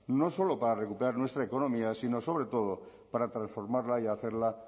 no solo para recuperar nuestra economía sino sobre todo para transformarla y hacerla